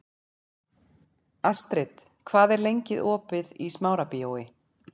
Astrid, hvað er lengi opið í Smárabíói?